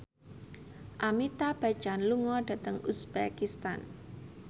Amitabh Bachchan lunga dhateng uzbekistan